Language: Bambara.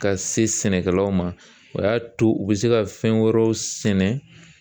Ka se sɛnɛkɛlaw ma o y'a to u bɛ se ka fɛn wɛrɛw sɛnɛ